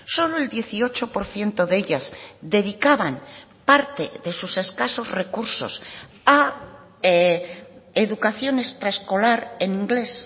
solo el dieciocho por ciento de ellas dedicaban parte de sus escasos recursos a educación extraescolar en inglés